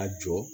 A jɔ